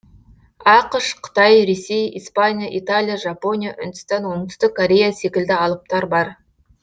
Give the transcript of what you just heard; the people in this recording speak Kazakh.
ақш қытай ресей испания италия жапония үндістан оңтүстік корея секілді алыптар бар